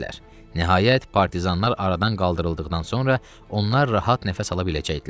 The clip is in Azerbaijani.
Nəhayət, partizanlar aradan qaldırıldıqdan sonra onlar rahat nəfəs ala biləcəkdilər.